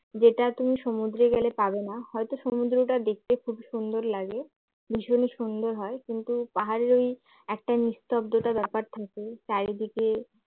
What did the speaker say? যেটা তুমি সমুদ্র গেলে পাবে না হয়তো সমুদ্রটা দেখতে খুবই সুন্দর লাগে ভীষণ সুন্দর হয় কিন্তু পাহাড়ের ওই একটা নিস্তব্ধতা ব্যাপার থাকে চারিদিকে